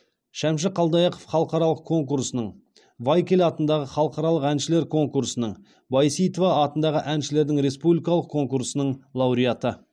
шәмші қалдаяқов халықаралық конкурсының вайкль атындағы халықаралық әншілер конкурсының байсейітова атындағы әншілердің республикалық конкурсының лауреаты